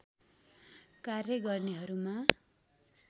कार्य गर्नेहरूमा